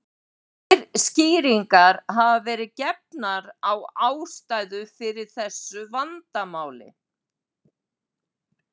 Tvær skýringar hafa verið gefnar á ástæðu fyrir þessu vandamáli.